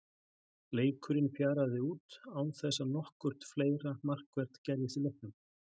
Leikurinn fjaraði út án þess að nokkurt fleira markvert gerðist í leiknum.